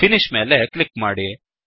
finish ಮೇಲೆ click ಮಾಡಿ